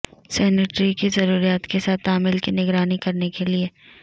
sanitary کی ضروریات کے ساتھ تعمیل کی نگرانی کرنے کے لئے